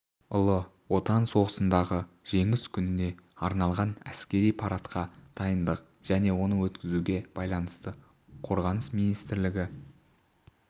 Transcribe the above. ұлы отан соғысындағы жеңіс күніне арналған әскери парадқа дайындық және оны өткізуге байланысты қорғаныс министрлігі